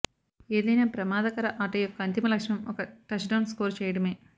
ఏదైనా ప్రమాదకర ఆట యొక్క అంతిమ లక్ష్యం ఒక టచ్డౌన్ స్కోర్ చేయడమే